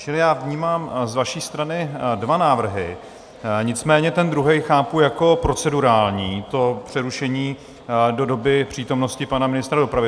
Čili já vnímám z vaší strany dva návrhy, nicméně ten druhý chápu jako procedurální, to přerušení do doby přítomnosti pana ministra dopravy.